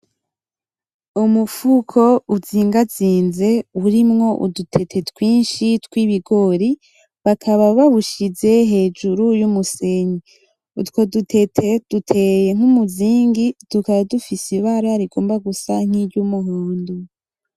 Umufuko uzigazize urimwo udutete twinshi tw'ibigori bakaba bawushize hejuru y'umusenge utwo dutete duteye nk'umuzingi tukaba dufise ibara rigomba gusa nk'iry'umuhondo.